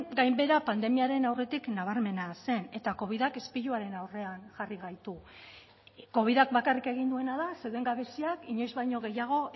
gainbehera pandemiaren aurretik nabarmena zen eta covidak izpiluaren aurrean jarri gaitu covidak bakarrik egin duena da zeuden gabeziak inoiz baino gehiago